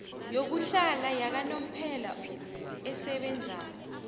yokuhlala yakanomphela esebenzako